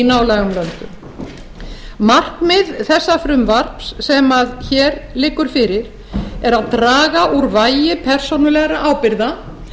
nálægum löndum markmið þessa frumvarps sem hér liggur fyrir er að draga úr vægi persónulegra ábyrgða